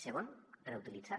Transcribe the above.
segon reutilitzar